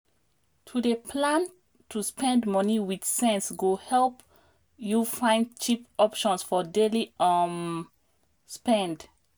to dey plan to spend money with sense go help you find cheap options for daily um spend.